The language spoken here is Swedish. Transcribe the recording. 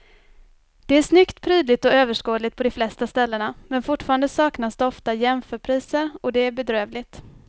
Det är snyggt, prydligt och överskådligt på de flesta ställena men fortfarande saknas det ofta jämförpriser och det är bedrövligt.